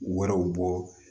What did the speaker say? Wɛrɛw bɔ